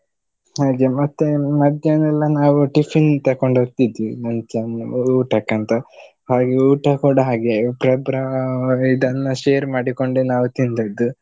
ಹಾಗೆ ಮತ್ತೆ ಮಧ್ಯಾಹ್ನ ಎಲ್ಲ ನಾವು tiffin ತಕೊಂಡ್ ಹೋಗ್ತಿದ್ವಿ ಮುಂಚೆ ಒಂದ್ ಊಟಕ್ಕಂತ ಹಾಗೆ ಊಟ ಕೂಡ ಹಾಗೆ ಒಬ್ರೊಬ್ರ ಇದೆಲ್ಲ share ಮಾಡಿಕೊಂಡೆ ನಾವು ತಿಂದದ್ದು.